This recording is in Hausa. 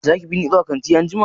Zaki bini zuwa kanti anjima?